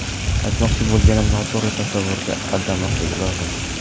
Aytmoqchi bo‘lganim, noto‘g‘ri tasavvurga aldanmasligi lozim.